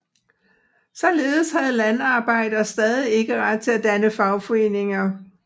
Således havde landarbejdere stadig ikke ret til at danne fagforeninger